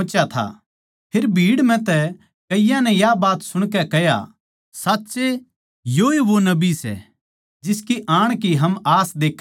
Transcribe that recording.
फेर भीड़ म्ह तै कईयाँ नै या बात सुणकै कह्या साच्ये योए वो नबी सै जिसके आण की हम आस देक्खां थे